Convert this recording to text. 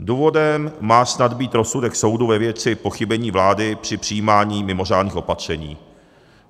Důvodem má snad být rozsudek soudu ve věci pochybení vlády při přijímání mimořádných opatření.